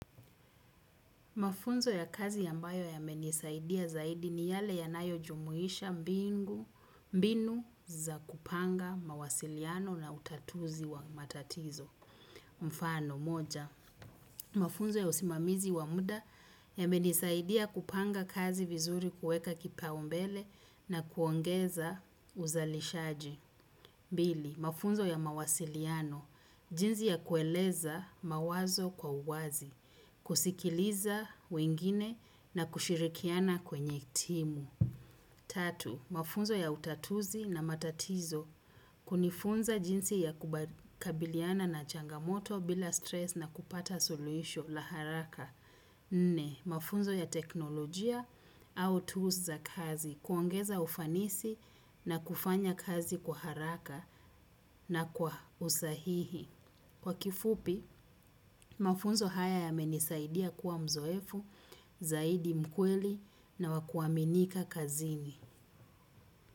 Mafunzo ya kazi ambayo yamenisaidia zaidi ni yale yanayojumuhisha mbinu za kupanga mawasiliano na utatuzi wa matatizo. Mfano moja, mafunzo ya usimamizi wa muda yamenisaidia kupanga kazi vizuri kueka kipaumbele na kuongeza uzalishaji. Bili, mafunzo ya mawasiliano, jinzi ya kueleza mawazo kwa uwazi, kusikiliza wengine na kushirikiana kwenye timu. Tatu, mafunzo ya utatuzi na matatizo, kunifunza jinsi ya kubakabiliana na changamoto bila stress na kupata suluhisho la haraka. Nne, mafunzo ya teknolojia au tools za kazi kuongeza ufanisi na kufanya kazi kwa haraka na kwa usahihi. Kwa kifupi, mafunzo haya yamenisaidia kuwa mzoefu, zaidi mkweli na wa kuaminika kazini.